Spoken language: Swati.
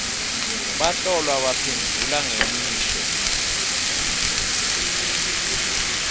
bahlolwa baphendvula ngemisho